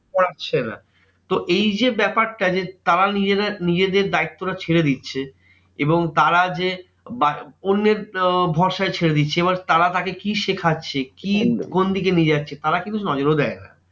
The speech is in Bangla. পারছে না। তো এই যে ব্যাপারটা যে তারা নিজেরা নিজেদের দায়িত্ব টা ছেড়ে দিচ্ছে এবং তারা যে বা অন্যের আহ ভরসায় ছেড়ে দিচ্ছে এবার তারা তাকে কি শেখাচ্ছে? কি কোন দিকে নিয়ে যাচ্ছে? তারা কিন্তু নজরও দেয় না।